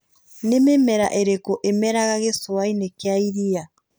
Nĩ mĩmera ĩrĩko ĩmeraga gĩcũa-inĩ kĩa iria?